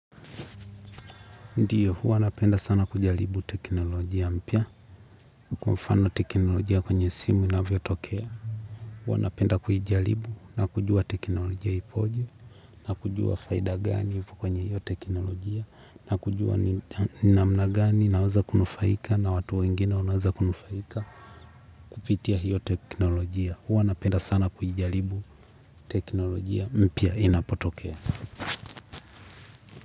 Ndiyo, hua napenda sana kujalibu teknolojia mpya, kwa mfano teknolojia kwenye simu inavyotokea. Hua napenda kuijaribu na kujua teknolojia ipoje, na kujua faida gani kwenye hiyo teknolojia, na kujua ni namna gani, naweza kunufaika, na watu wengine unaoweza kunufaika kupitia hiyo teknolojia. Hua napenda sana kuijaribu teknolojia mpya inapotokea.